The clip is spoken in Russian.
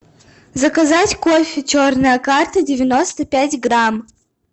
заказать кофе черная карта девяносто пять грамм